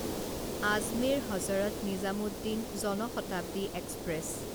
Ajmer Hazrat Nizamuddin Jan Shatabdi express